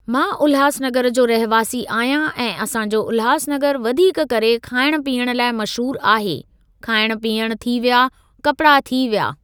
मां उल्हासनगर जो रहिवासी आहियां ऐं असां जो उल्हासनगर वधीक करे खाइण पीअण लाइ मशहूर आहे खाइण पीअण थी विया कपिड़ा थी विया।